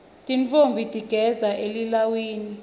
tintfombi tigidza elilawini